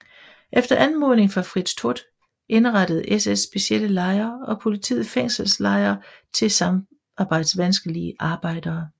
Efter anmodning fra Fritz Todt indrettede SS specielle lejre og politiet fængselslejre til samarbejdsvanskelige arbejdere